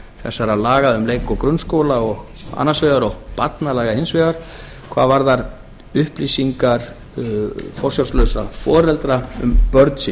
þessara laga um leik og grunnskóla annars vegar og barnalaga hins vegar hvað varðar upplýsingar forsjárlausra foreldra um börn sín